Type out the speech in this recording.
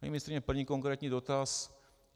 Paní ministryně, první konkrétní dotaz.